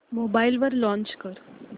mobile वर launch कर